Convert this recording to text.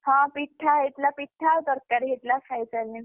ହଁ ପିଠା ହେଇଥିଲା ପିଠା ଆଉ ତରକାରୀ ହେଇଥିଲା ଖାଇସାରିଲେଣି।